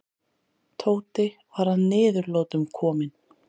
Tóti var að niðurlotum kominn.